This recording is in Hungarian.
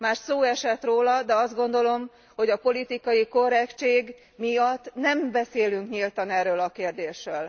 Már szó esett róla, de azt gondolom, hogy a politikai korrektség miatt nem beszélünk nyíltan erről a kérdésről.